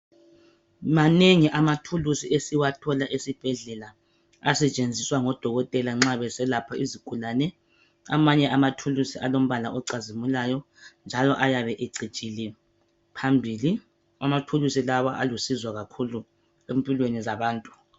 Manengi amathulusi esiwathola esibhedlela asetshenziswa ngabodokotela nxa beselapha izigulane. Amanye amathulusi alombala ocazimulayo njalo ayabe ecijile phambili. Amathulusi lawa alusizo empilweni zabantu.